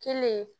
Kelen